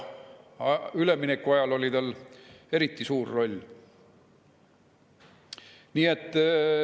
Üleminekuajal oli tal eriti suur roll.